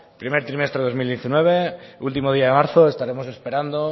primer trimestre de dos mil diecinueve último día de marzo estaremos esperando